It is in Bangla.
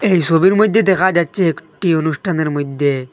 এই সবির মইধ্যে দেখা যাচ্ছে একটি অনুষ্ঠানের মইধ্যে--